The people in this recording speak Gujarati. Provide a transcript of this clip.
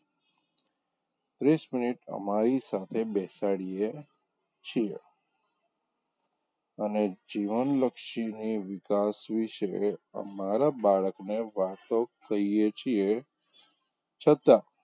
ત્રીસ મિનીટ અમારી સાથે બેસાડીયે છીએ અને જીવનલક્ષીની વિકાસ વિષે અમારા બાળકને વાતો કહીએ છીએ છતાં,